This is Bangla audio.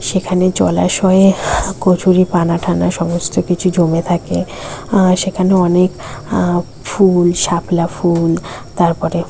সেখানে জলাশয়ে কচুরিপানা টানা সমস্ত কিছু জমে থাকে অ্যাঁ সেখানে অনেক অ্যাঁ ফুল শাপলা ফুল তারপরে--